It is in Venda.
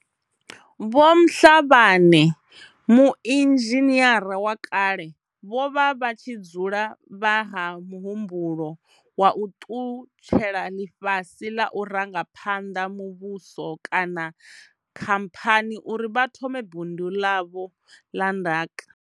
Vho Mhlabane, muinzhiniara wa kale, vho vha vha tshi dzula vha ha mu humbulo wa u ṱutshela ḽifhasi ḽa u ranga phanḓa muvhuso kana khamphani uri vha thome bindu ḽavho ḽa ndaka.